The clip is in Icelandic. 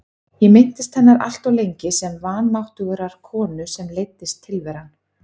Ég minntist hennar alltof lengi sem vanmáttugrar konu sem leiddist tilveran.